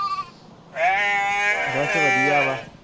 ਬਦ ਵਧੀਆ ਵਾ